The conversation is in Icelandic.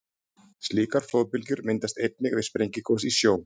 Slíkar flóðbylgjur myndast einnig við sprengigos í sjó.